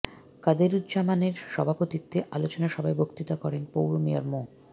কাদেরুজ্জামানের সভাপতিত্বে আলোচনা সভায় বক্তৃতা করেন পৌর মেয়র মো